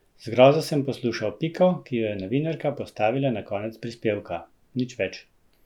Z grozo sem poslušal piko, ki jo je novinarka postavila na konec prispevka: "Nič več.